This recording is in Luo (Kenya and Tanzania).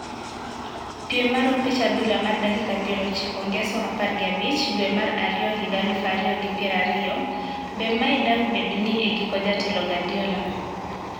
Piem mar opich adhula mar dakika piero ochiko Ngeso apar gi abich dwe mar ariyo higa aluf ariyo gi pier ariyo, be mae dang` bed ni e giko jatelo Guardiola.